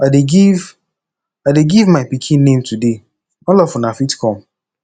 i dey give i dey give my pikin name today all of una fit come